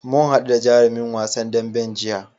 Mu haɗu da jarumin wasan daɓen jiya.